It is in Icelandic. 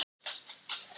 Laufás